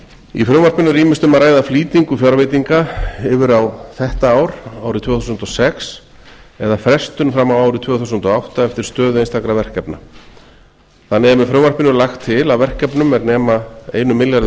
í frumvarpinu er ýmist um að ræða flýtingu fjárveitinga yfir á þetta ár árið tvö þúsund og sex eða frestun fram á árið tvö þúsund og átta eftir stöðu einstakra verkefna þannig er með frumvarpinu lagt til að verkefnum er nema einum milljarði